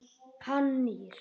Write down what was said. Hann nýr.